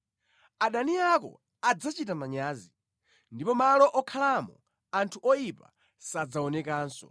Adani ako adzachita manyazi, ndipo malo okhalamo anthu oyipa sadzaonekanso.”